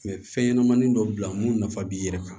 fɛn ɲɛnamanin dɔ bila mun nafa b'i yɛrɛ kan